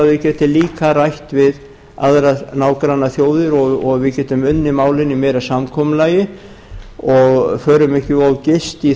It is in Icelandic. að þau geti líka rætt við aðrar nágrannaþjóðir og við getum unnið málin í meira samkomulagi og förum ekki of geyst í